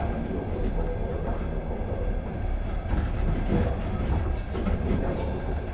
Aí ou você concorda ou não concorda, mas sei lá, não sei, muita coisa mudou.